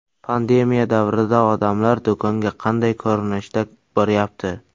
Pandemiya davrida odamlar do‘konga qanday ko‘rinishda boryapti?